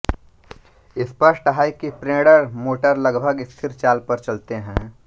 स्पष्ट है कि प्रेरण मोटर लगभग स्थिर चाल पर चलते हैं